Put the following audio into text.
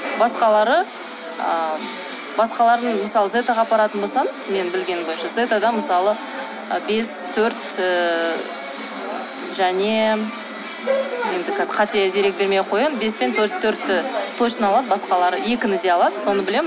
басқалары ы басқаларын мысалы зетаға апаратын болсам мен білгенім бойынша зетадан мысалы ы бес төрт ыыы және енді қазір қате дерек бермей ақ қояйын бес пен төртті точно алады басқалары екіні де алады соны білемін